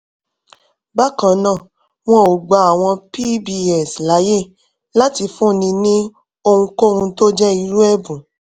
bákan náà wọn ò gba àwọn pbs láyè láti fúnni ní ohunkóhun tó jẹ́ irú ẹ̀bùn